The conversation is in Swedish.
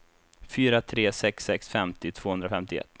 fyra tre sex sex femtio tvåhundrafemtioett